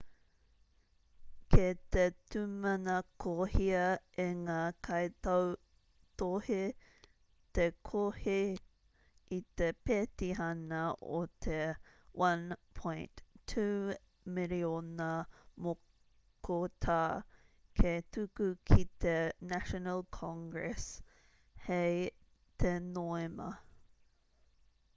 kei te tūmanakohia e ngā kaitautohe te kohi i te pētihana o te 1.2 miriona mokotā hei tuku ki te national congress hei te noema